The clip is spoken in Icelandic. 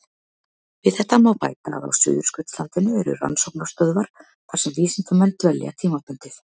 Við þetta má bæta að á Suðurskautslandinu eru rannsóknarstöðvar þar sem vísindamenn dvelja tímabundið.